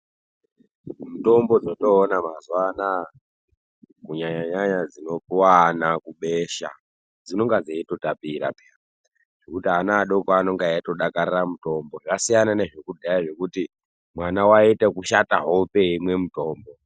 Mutombo dzatoona mazuwa anaya kunyanyanyanya dzinopuwa ana kubesha dzinenge dzeitotapira peya zvekuti ana adoko anenge eitodakarira mutombo zvasiyana nezvekudhaya zvekuti mwana waiite ekushata hope eimwe mutombo.